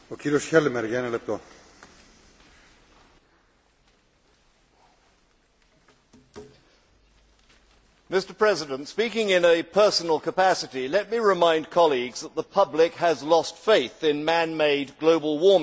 Mr President, speaking in a personal capacity, let me remind colleagues that the public has lost faith in man made global warming.